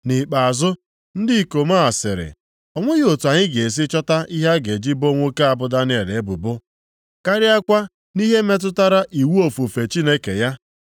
Nʼikpeazụ, ndị ikom a sịrị, “O nweghị otu anyị ga-esi chọta ihe a ga-eji boo nwoke a bụ Daniel ebubo, karịakwa nʼihe metụtara iwu ofufe Chineke ya.”